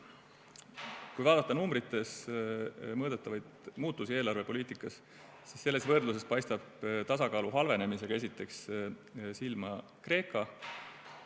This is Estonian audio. Kui vaadata numbrites mõõdetavaid muutusi eelarvepoliitikas, siis selles võrdluses paistab tasakaalu halvenemisega esiteks silma Kreeka.